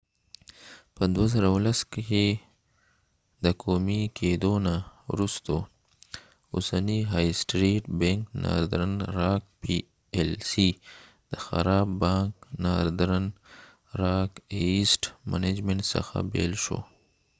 په 2010 کې د قومي کېدو نه وروسته اوسنی های سټریټ بینک ناردن راک پی ایل سی د خراب بانک ناردرن راک ایسیټ منجمنټ څخه بیل شو